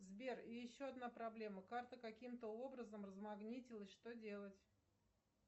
сбер еще одна проблема карта каким то образом размагнитилась что делать